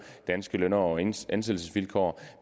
danske løn og ansættelsesvilkår